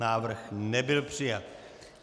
Návrh nebyl přijat.